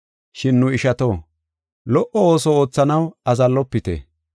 Shin nu ishato, lo77o ooso oothanaw azallofite.